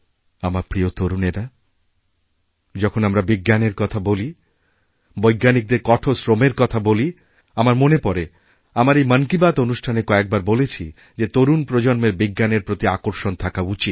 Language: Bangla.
আমার প্রিয় তরুণেরা যখন আমরা বিজ্ঞানের কথা বলিবৈজ্ঞানিকদের কঠোর শ্রমের কথা বলি আমার মনে পড়ে আমার এই মন কী বাত অনুষ্ঠানেকয়েকবার বলেছি যে তরুণ প্রজন্মের বিজ্ঞানের প্রতি আকর্ষণ থাকা উচিত